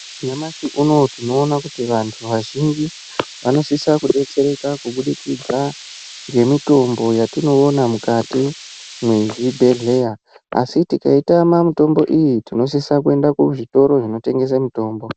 Nyamashi unowu tinoona kuti vantu vazhinji vanosisa kudetsereka kubudikidza nemitombo yatinoona mukati mwezvibhedhlera ai tikaitama mitombo iyi tinosisa kuenda kuzvitoro zvotengesa mitombo.